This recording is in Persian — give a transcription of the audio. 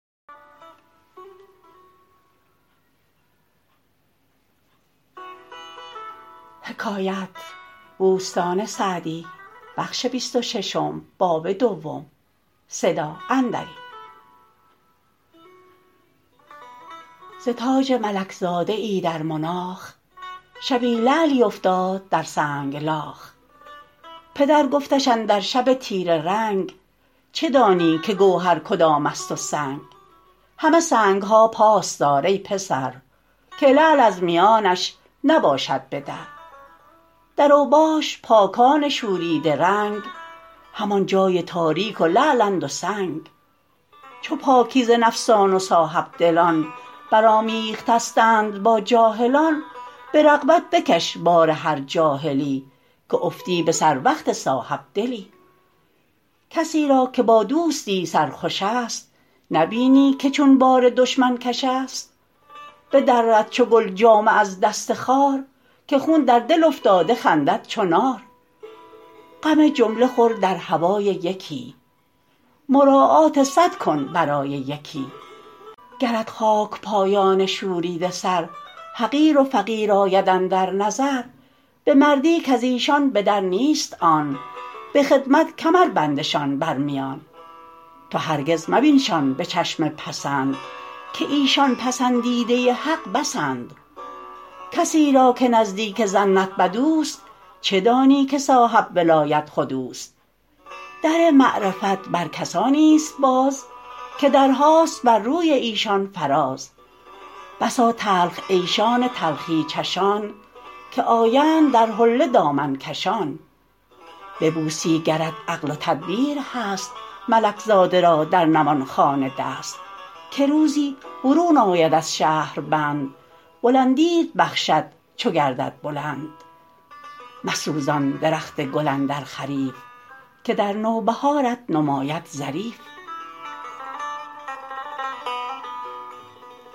ز تاج ملک زاده ای در مناخ شبی لعلی افتاد در سنگلاخ پدر گفتش اندر شب تیره رنگ چه دانی که گوهر کدام است و سنگ همه سنگ ها پاس دار ای پسر که لعل از میانش نباشد به در در اوباش پاکان شوریده رنگ همان جای تاریک و لعلند و سنگ چو پاکیزه نفسان و صاحبدلان بر آمیخته ستند با جاهلان به رغبت بکش بار هر جاهلی که افتی به سر وقت صاحبدلی کسی را که با دوستی سرخوش است نبینی که چون بار دشمن کش است بدرد چو گل جامه از دست خار که خون در دل افتاده خندد چو نار غم جمله خور در هوای یکی مراعات صد کن برای یکی گرت خاک پایان شوریده سر حقیر و فقیر آید اندر نظر به مردی کز ایشان به در نیست آن به خدمت کمر بندشان بر میان تو هرگز مبینشان به چشم پسند که ایشان پسندیده حق بسند کسی را که نزدیک ظنت بد اوست چه دانی که صاحب ولایت خود اوست در معرفت بر کسانی است باز که درهاست بر روی ایشان فراز بسا تلخ عیشان تلخی چشان که آیند در حله دامن کشان ببوسی گرت عقل و تدبیر هست ملک زاده را در نواخانه دست که روزی برون آید از شهربند بلندیت بخشد چو گردد بلند مسوزان درخت گل اندر خریف که در نوبهارت نماید ظریف